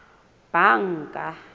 banka